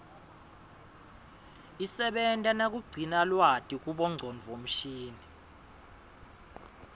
isebenta nakugcina lwati kubongcondo mshini